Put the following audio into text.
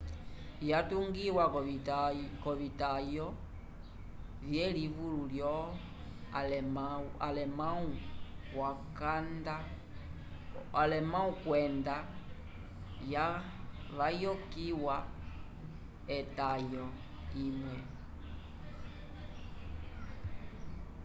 yatungiwa k’ovitayo vyelimi lyo-alemãwu kwenda yavokiyiwa etayo imwe õ/õ